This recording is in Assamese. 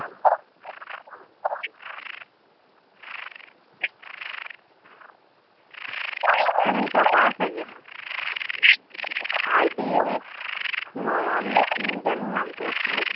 চিনি পাবা চাগে RBX নয়ন নে কি জানো নামটো আছিলে